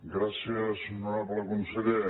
gràcies honorable conseller